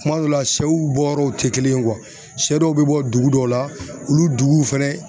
Kuma dɔw la, sɛw bɔ yɔrɔw te kelen ye sɛ dɔw be bɔ dugu dɔw la olu fɛnɛ